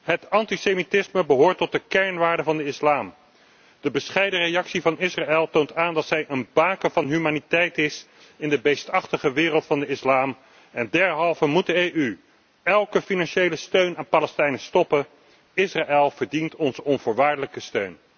Het antisemitisme behoort tot de kernwaarden van de islam. De bescheiden reactie van Israël toont aan dat het een baken van humaniteit is in de beestachtige wereld van de islam. Daarom moet de EU elke financiële steun aan Palestijnen stoppen. Israël verdient onze onvoorwaardelijke steun.